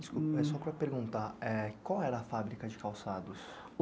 Desculpa, é só para perguntar, é... qual era a fábrica de calçados?